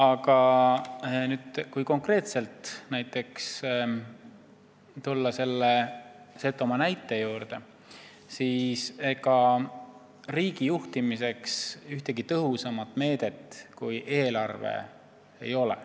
Kui tulla nüüd konkreetselt Setomaa näite juurde, siis ega riigi juhtimiseks ei ole ühtegi tõhusamat meedet kui eelarve.